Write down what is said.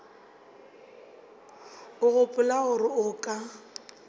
o gopola gore o ka